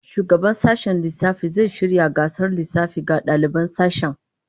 Shugaban sashen lissafi zai shirya gasar lissafi ga daliban sashen